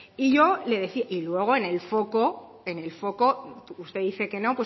y yo le decía y luego en el foco usted dice que no